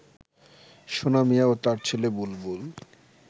সোনা মিয়া ও তার ছেলে বুলবুল